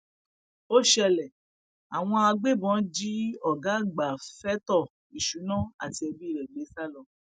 ó ṣẹlẹ àwọn agbébọn jí ọgá àgbà fẹtọ ìṣúná àti ẹbí rẹ gbé sá lọ